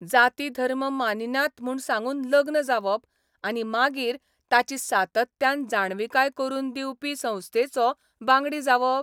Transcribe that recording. जाती धर्म मानिनात म्हूण सांगून लग्न जावप आनी मागीर ताची सातत्यान जाणविकाय करून दिवपी संस्थेचो बांगडी जावप?